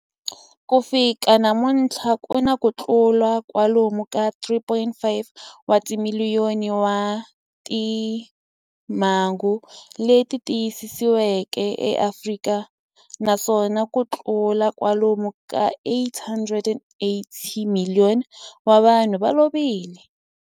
Ku fika namuntlha ku na kutlula kwalomu ka 3.5 wa timiliyoni wa timhangu leti tiyisisiweke eAfrika, naswona kutlula kwalomu ka 88,000 wa vanhu va lovile.